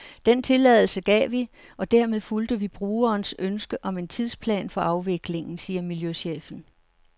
Den tilladelse gav vi, og dermed fulgte vi brugerens ønske om en tidsplan for afviklingen, siger miljøchefen.